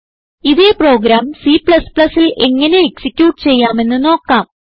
ഇതേ പ്രോഗ്രാം Cൽ എങ്ങനെ എക്സിക്യൂട്ട് ചെയ്യാമെന്ന് നോക്കാം